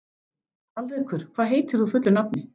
Alrekur, hvað heitir þú fullu nafni?